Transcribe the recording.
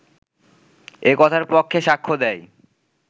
এ কথার পক্ষে সাক্ষ্য দেয়